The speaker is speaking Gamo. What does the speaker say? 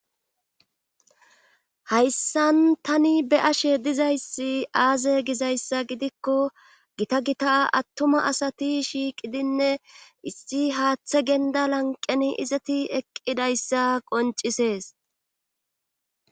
hayssan tani be ashe dizayssi aaze gizayssa gidikko gita gita attuma asati shiiqidinne isti haaththe genda lanqen izati eqqidayssa qoncisees